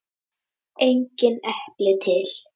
Engin epli til!